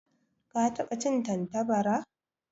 Ka taba cin Tantabara?